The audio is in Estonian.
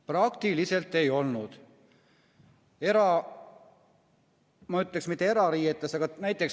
Praktiliselt ei olnud!